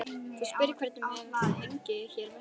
Þú spyrð hvernig mér vegni hér vestra.